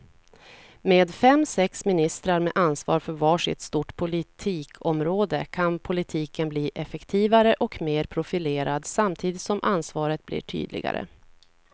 Med fem, sex ministrar med ansvar för var sitt stort politikområde kan politiken bli effektivare och mer profilerad samtidigt som ansvaret blir tydligare.